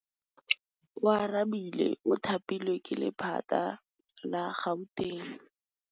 Oarabile o thapilwe ke lephata la Gauteng.